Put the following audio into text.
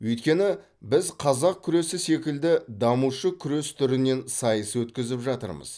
өйткені біз қазақ күресі секілді дамушы күрес түрінен сайыс өткізіп жатырмыз